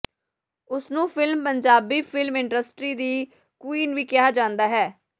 ਉਸ ਨੂੰ film Punjabi film industry ਦੀ ਕੁਈਨ ਵੀ ਕਿਹਾ ਜਾਂਦਾ ਹੈ